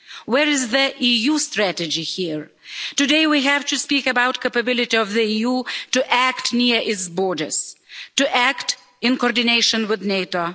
Where is the EU strategy here? Today we have to speak about the capability of the EU to act near its borders, to act in coordination with NATO.